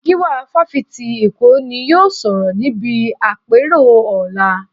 Gíwá Fásitì Èkó ni yóò sọ̀rọ̀ níbi àpérò ọ̀la